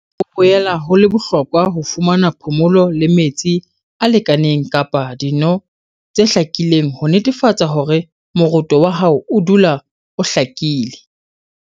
Ho boela ho le bohlokwa ho fumana phomolo le metsi a lekaneng kapa dino tse hlakileng ho netefatsa hore moroto wa hao o dula o hlakile.